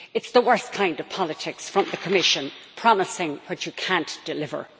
It is the worst kind of politics from the Commission promising what you cannot deliver.